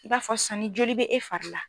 I b'a fɔ san ni joli bɛ e fari la.